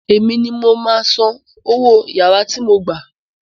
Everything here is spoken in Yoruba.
Èmi ni mo máa san owó yàrá tí mo gbà